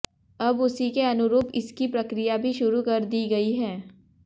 अब उसी के अनुरूप इसकी प्रक्रिया भी शुरू कर दी गई है